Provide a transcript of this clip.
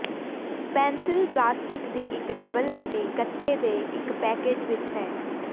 pencil plastic ਦੀ ਇੱਕ double ਅਤੇ ਗੱਤੇ ਦੇ ਇੱਕ ਪੈਕੇਜ਼ ਵਿੱਚ ਹੈ